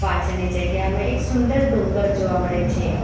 પાછળની જગ્યામાં એક સુંદર ડુંગર જોવા મળે છે.